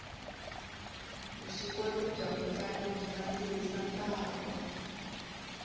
vuswikoti bya mutlangi byi nandzihisa ntlangu